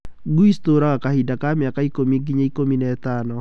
Ngui citooraga kahinda ka mĩaka ta ikũmi nginya ikũmi na ĩtano.